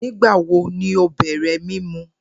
Nigbawo ni o bẹrẹ mimu?